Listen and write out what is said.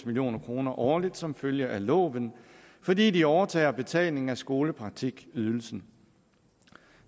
million kroner årligt som følge af loven fordi de overtager betalingen af skolepraktikydelsen